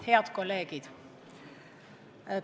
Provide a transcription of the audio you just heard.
Head kolleegid!